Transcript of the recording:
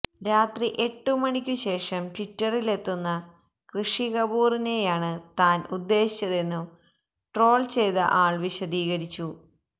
രാത്രി എട്ടു മണിക്കു ശേഷം ട്വിറ്ററിലെത്തുന്ന ഋഷി കപൂറിനെയാണ് താന് ഉദ്ദേശിച്ചതെന്നും ട്രോൾ ചെയ്ത ആൾ വിശദീകരിച്ചു